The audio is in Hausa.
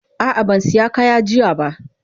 Ah ah ban siya kaya jiya ba.